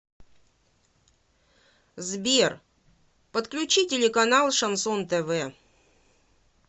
сбер подключи телеканал шансон тв